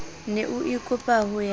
ne o ikopa ho ya